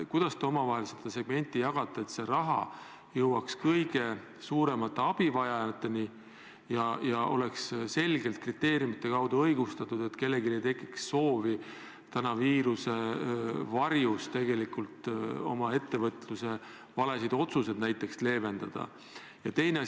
Kuidas te omavahel seda segmenti jagate, et raha jõuaks kõige suuremate abivajajateni ja oleks selgete kriteeriumide alusel jagatud ja õigustatud, nii et kellelgi ei tekiks soovi viirusele rõhudes tegelikult oma ettevõtluses tehtud valede otsuste mõju leevendada?